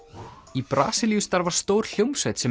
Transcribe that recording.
í Brasilíu starfar stór hljómsveit sem